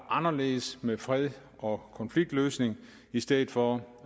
anderledes med fred og konfliktløsning i stedet for